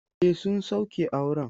E, sun sauke auren.